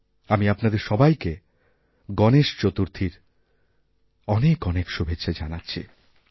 আমি আপনাদের সবাইকে গণেশ চতুর্থীর অনেক অনেকশুভেচ্ছা জানাছি